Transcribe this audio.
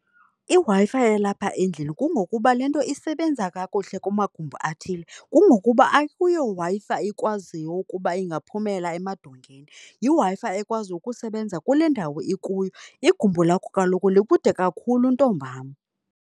IWi-Fi yalapha endlini kungokuba le nto isebenza kakuhle kumagumbi athile kungokuba akuyo Wi-Fi ikwaziyo ukuba ingaphumela emadongeni, yiWi-Fi ekwazi ukusebenza kule ndawo ikuyo. Igumbi lakho kaloku likude kakhulu ntombam.